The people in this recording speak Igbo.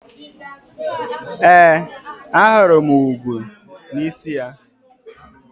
Ee, ahụrụ m igwu n'isi ya.